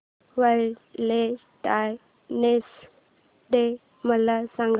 Valentine's day मला सांग